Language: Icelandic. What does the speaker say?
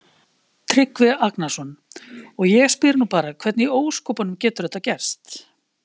Tryggvi Agnarsson: Og ég spyr nú bara hvernig í ósköpunum getur þetta gerst?